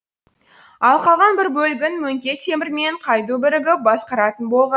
ал қалған бір бөлігін мөңке темір мен қайду бірігіп басқаратын болған